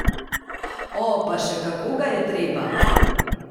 O, pa še kako ga je treba!